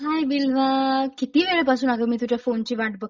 हाय बिलवा किती वेळा पासून अग मी तुझ्या फोनची वाट बघतेय!